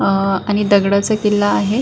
आ आणि दगडाचा किल्ला आहे.